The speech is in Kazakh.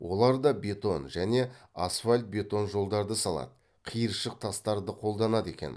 олар да бетон және асфальт бетон жолдарды салады қиыршық тастарды қолданады екен